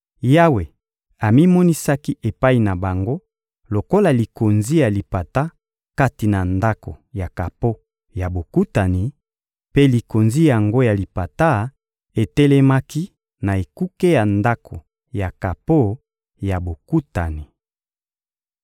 Yawe amimonisaki epai na bango lokola likonzi ya lipata kati na Ndako ya kapo ya Bokutani; mpe likonzi yango ya lipata etelemaki na ekuke ya Ndako ya kapo ya Bokutani.